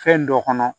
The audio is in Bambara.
Fɛn dɔ kɔnɔ